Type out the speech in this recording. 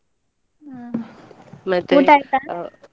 ಹ್ಮ್ ಊಟ ಆಯ್ತಾ?